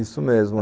Isso mesmo.